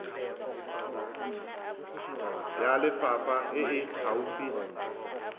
ya lefapha e e gaufi